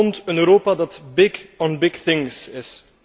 Het toont een Europa dat big on big things is.